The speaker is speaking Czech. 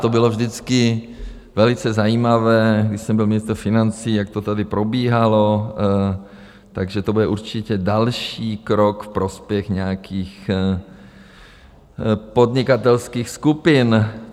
To bylo vždycky velice zajímavé, když jsem byl ministr financí, jak to tady probíhalo, takže to bude určitě další krok v prospěch nějakých podnikatelských skupin.